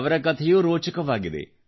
ಅವರ ಕಥೆಯೂ ರೋಚಕವಾಗಿದೆ